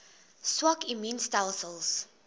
swak immuun stelsels